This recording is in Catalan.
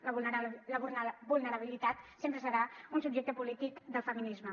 la vulnerabilitat sempre serà un subjecte polític del feminisme